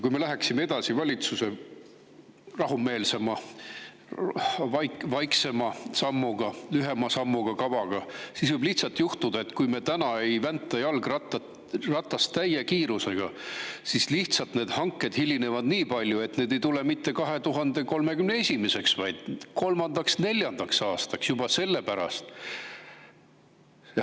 Kui me läheksime edasi valitsuse rahumeelsema, vaiksema, lühema sammuga kavaga, siis võib lihtsalt juhtuda, et kuna me ei vänta jalgratast täie kiirusega, siis need hanked hilinevad nii palju, et ei tule mitte 2031. aastaks, vaid alles 2033.–2034. aastaks juba sellepärast.